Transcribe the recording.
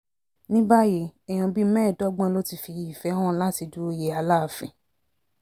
ní báyìí èèyàn bíi mẹ́ẹ̀ẹ́dọ́gbọ̀n ló ti fi ìfẹ́ hàn láti du òye aláàfin